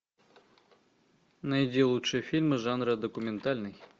найди лучшие фильмы жанра документальный